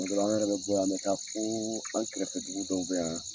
Tuma dɔ la an yɛrɛ be bɔ yan ,an be taa fo an kɛrɛfɛ dugu dɔw be yan